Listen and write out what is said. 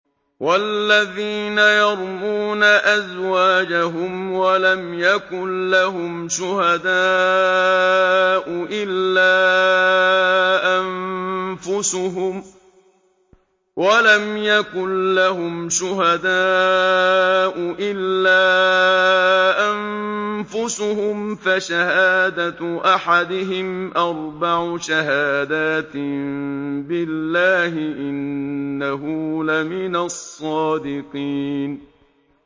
وَالَّذِينَ يَرْمُونَ أَزْوَاجَهُمْ وَلَمْ يَكُن لَّهُمْ شُهَدَاءُ إِلَّا أَنفُسُهُمْ فَشَهَادَةُ أَحَدِهِمْ أَرْبَعُ شَهَادَاتٍ بِاللَّهِ ۙ إِنَّهُ لَمِنَ الصَّادِقِينَ